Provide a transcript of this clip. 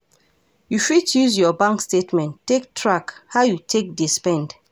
You fit use your bank statement take track how you take dey spend